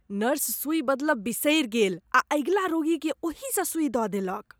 Nurse सुई बदलब बिसरी गेल आ अगिला रोगीकेँ ओही स सुई द देलक।